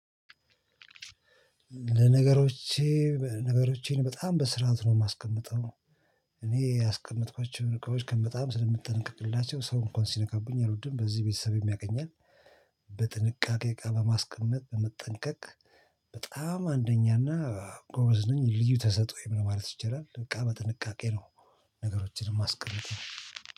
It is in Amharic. ለነገሮቼ ነገሮቼን በጣም በስርዓት ነው የማስቀምጠው። እኔ ያስቀመጥኳቸውን እቃዎች ከምትጠነቀቅላቸው ሰው እንኳን ሲነካብኝ አልወድም በዚህ ቤተሰብ ያቀኛል። በጥንቃቄ እቃ በማስቀመጥ በመጠንቀቅ። በጣም አንደኛ እና ጎበዝ ነኝ ልዩ ተሰጥኦኝ ማለት ይቻላል። በቃ በጥንቃቄ ነው። ነገሮችን ማስቀምጠው